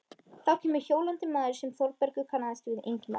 Þá kemur hjólandi maður sem Þórbergur kannast við, Ingimar